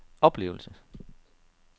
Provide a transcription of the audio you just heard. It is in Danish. oplevelse